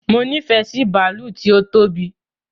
Mo nifẹ sí bàálù tí ó tóbi